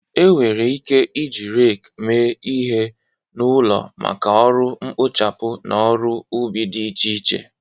Enwere ike iji rake mee ihe n'ụlọ maka ọrụ mkpochapụ na ọrụ ubi dị iche iche.